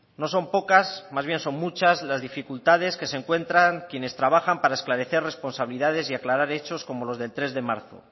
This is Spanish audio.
no son pocas más bien son muchas las dificultades que se encuentran quienes trabajan para esclarecer responsabilidades y aclarar hechos como los del tres de marzo